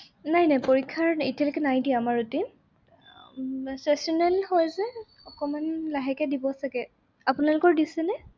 নাই নাই পৰীক্ষাৰ এতিয়ালৈকে নাই দিয়া আমাৰ routine উম sessional হয় যে অকমান লাহেকে দিব চাগে। আপোনালোকৰ দিছেনে?